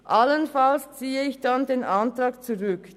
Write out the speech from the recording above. Allenfalls ziehe ich dann den Antrag zurück.